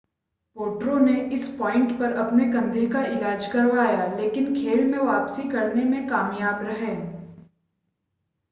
पोट्रो ने इस पॉइंट पर अपने कंधे का इलाज करवाया लेकिन खेल में वापसी करने में कामयाब रहे